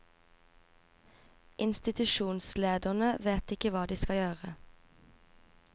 Institusjonslederne vet ikke hva de skal gjøre.